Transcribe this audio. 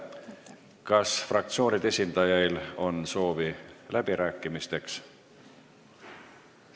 Kas fraktsioonide esindajail on soovi läbi rääkida?